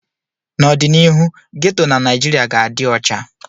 N'ọdịnihu, geto na Naijiria ga-adị ọcha